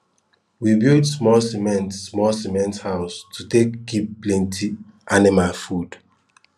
we build smol cement smol cement house to take kip plenty anima food